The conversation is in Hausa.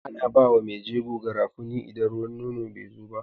Ana bawa me jego garafuni idan ruwan nono bezo ba